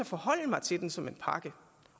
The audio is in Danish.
forholde mig til den som en pakke